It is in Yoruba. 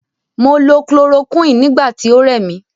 Mo lo chloroquine nigbati oremi